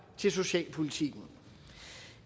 til socialpolitikken